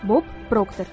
Bob Prokder.